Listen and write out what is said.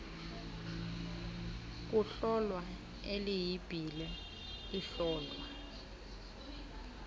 kuhlolwa ileyibhile ihlolwa